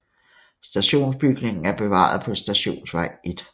Stationsbygningen er bevaret på Stationsvej 1